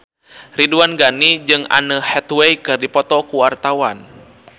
Ridwan Ghani jeung Anne Hathaway keur dipoto ku wartawan